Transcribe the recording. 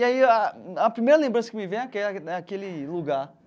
E aí a a primeira lembrança que me vem é aquela né aquele lugar.